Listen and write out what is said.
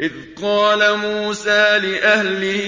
إِذْ قَالَ مُوسَىٰ لِأَهْلِهِ